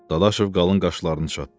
Dadaşov qalın qaşlarını çatdı.